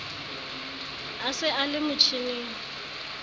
a se a le motjhining